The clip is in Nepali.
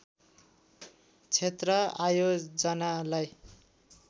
क्षेत्र आयोजनालाई